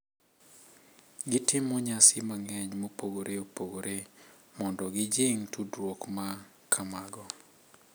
Gitimo nyasi mang’eny mopogore opogore mondo gijing’ tudruok ma kamago,